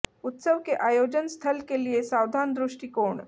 उत्सव के आयोजन स्थल के लिए सावधान दृष्टिकोण